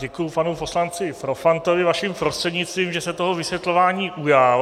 Děkuji panu poslanci Profantovi vaším prostřednictvím, že se toho vysvětlování ujal.